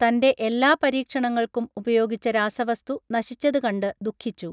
തൻറെ എല്ലാ പരീക്ഷണങ്ങൾക്കും ഉപയോഗിച്ച രാസവസ്തു നശിച്ചത് കണ്ട് ദുഃഖിച്ചു